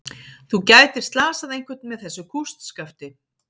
Þú gætir slasað einhvern með þessu kústskafti.